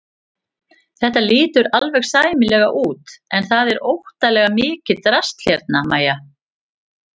Þetta lítur alveg sæmilega út en það er óttalega mikið drasl hérna MÆJA!